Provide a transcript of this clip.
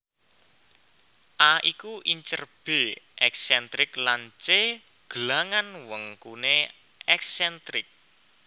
A iku incer B èksèntrik lan C gelangan wengkuné èksèntrik